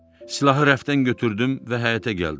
Silahı rəfdən götürdüm və həyətə gəldim.